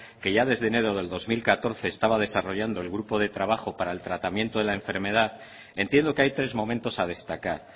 que ya desde enero del dos mil catorce estaba desarrollando el grupo de trabajo para el tratamiento de la enfermedad entiendo que hay tres momentos a destacar